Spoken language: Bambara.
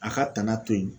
A ka tanga to yen